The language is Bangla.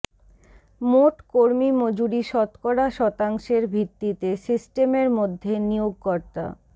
মোট কর্মী মজুরি শতকরা শতাংশের ভিত্তিতে সিস্টেমের মধ্যে নিয়োগকর্তা